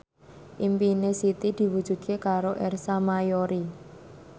impine Siti diwujudke karo Ersa Mayori